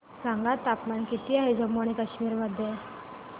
सांगा तापमान किती आहे जम्मू आणि कश्मीर मध्ये